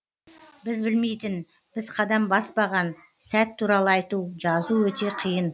біз білмейтін біз қадам баспаған сәт туралы айту жазу өте қиын